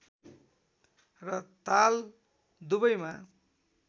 र ताल दुवैमा